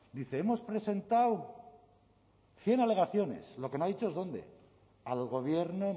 dice hemos presentado cien alegaciones lo que no ha dicho dónde al gobierno